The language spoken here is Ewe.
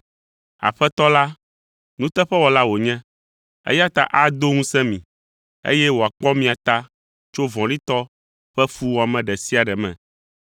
Aƒetɔ la, nuteƒewɔla wònye, eya ta ado ŋusẽ mi, eye wòakpɔ mia ta tso vɔ̃ɖitɔ ƒe fuwɔame ɖe sia ɖe me.